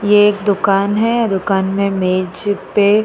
ये एक दुकान है। दुकान में मेज पे --